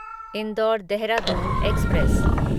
indoor Dehradun express